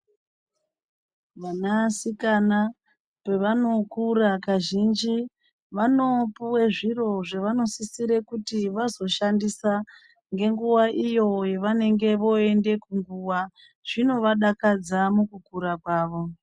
Vana sikana pevanokura kazhinji vanopuwe zviro zvevanosisira kuti vazoshandisa ngenguva iyo yavanonge voende kunguwa zvinovadakadza mukukura kwavo.